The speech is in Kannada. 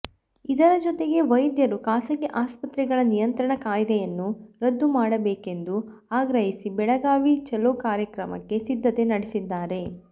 ಇದರ ಜೊತೆಗೆ ವೈದ್ಯರು ಖಾಸಗಿ ಆಸ್ಪತ್ರೆಗಳ ನಿಯಂತ್ರಣ ಕಾಯ್ದೆಯನ್ನು ರದ್ದು ಮಾಡಬೇಕೆಂದು ಆಗ್ರಹಿಸಿ ಬೆಳಗಾವಿ ಛಲೋ ಕಾರ್ಯಕ್ರಮಕ್ಕೆ ಸಿದ್ಧತೆ ನಡೆಸಿದ್ದಾರೆ